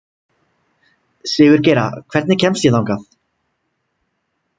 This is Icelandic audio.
Sigurgeira, hvernig kemst ég þangað?